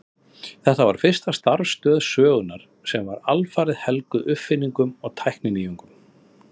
Þetta var fyrsta starfstöð sögunnar sem var alfarið helguð uppfinningum og tækninýjungum.